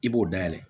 I b'o dayɛlɛ